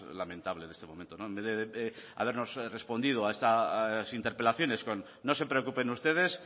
lamentable de este momento en vez de habernos respondido a estas interpelaciones con no se preocupen ustedes